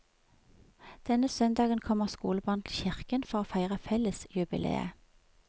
Denne søndagen kommer skolebarn til kirken for å feire fellesjubileet.